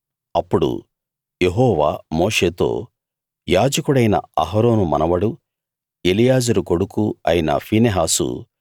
అప్పుడు యెహోవా మోషేతో యాజకుడైన అహరోను మనవడూ ఎలియాజరు కొడుకూ అయిన ఫీనెహాసు